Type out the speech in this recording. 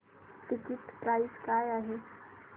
ticket price काय आहे